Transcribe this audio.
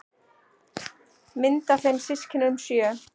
Mynd af þeim systkinunum sjö.